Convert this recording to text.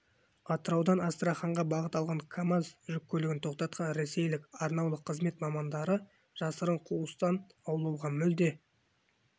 атыраудан астраханьға бағыт алған камаз жүк көлігін тоқтатқан ресейлік арнаулы қызмет мамандары жасырын қуыстан аулауға мүлде